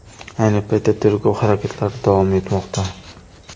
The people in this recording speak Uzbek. Ayni paytda tergov harakatlari davom etmoqda.